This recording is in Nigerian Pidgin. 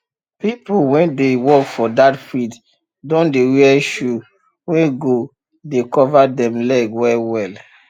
pple wey dey work for that field don dey wear shoe wey go dey cover dem leg well well